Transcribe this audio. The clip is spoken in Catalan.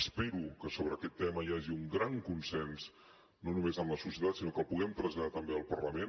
espero que sobre aquest tema hi hagi un gran consens no només en la societat sinó que el puguem traslladar també al parlament